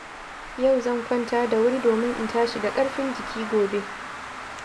Yau zan kwanta da wuri domin in tashi da ƙarfin jiki gobe.